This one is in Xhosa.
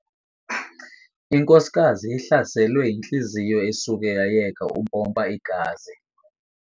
Inkosikazi ihlaselwe yintliziyo esuke yayeka ukumpompa igazi.